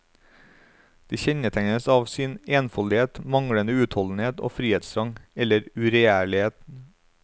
De kjennetegnes av sin enfoldighet, manglende utholdenhet og frihetstrang, eller uregjerlige.